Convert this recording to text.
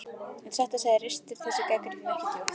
En satt að segja ristir þessi gagnrýni ekki djúpt.